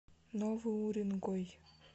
новый уренгой